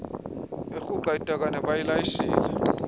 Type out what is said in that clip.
erhuqa itakane bayilayishele